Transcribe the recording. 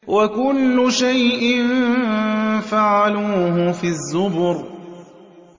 وَكُلُّ شَيْءٍ فَعَلُوهُ فِي الزُّبُرِ